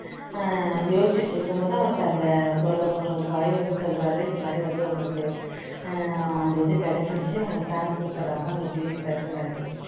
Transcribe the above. ஹம் யோசிச்சுக்கிட்டு இருக்கும்போது அவருக்கு அந்த ஒரு boy வந்து சொல்றார் இந்த மாதிரி வந்து உங்களுக்கு உம் இது கிடைச்சிருச்சு உங்களை sir கூப்பிடறாங்க உங்களுக்கு leave sanction ஆயிருச்சுன்னு